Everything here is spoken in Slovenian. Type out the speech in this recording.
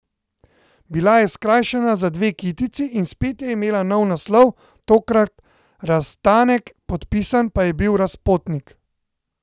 Bila je skrajšana za dve kitici in spet je imela nov naslov, tokrat Razstanek, podpisan pa je bil Razpotnik.